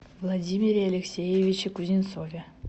владимире алексеевиче кузнецове